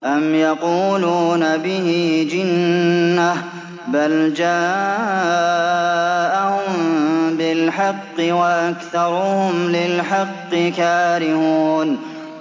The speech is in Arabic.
أَمْ يَقُولُونَ بِهِ جِنَّةٌ ۚ بَلْ جَاءَهُم بِالْحَقِّ وَأَكْثَرُهُمْ لِلْحَقِّ كَارِهُونَ